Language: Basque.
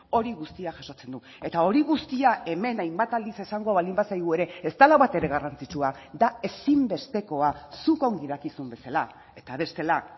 hori guztia jasotzen du eta hori guztia hemen hainbat aldiz esango baldin bazaigu ere ez dela batere garrantzitsua da ezinbestekoa zuk ongi dakizun bezala eta bestela